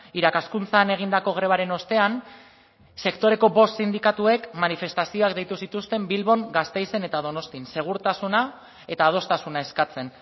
irakaskuntzan egindako grebaren ostean sektoreko bost sindikatuek manifestazioak deitu zituzten bilbon gasteizen eta donostian segurtasuna eta adostasuna eskatzen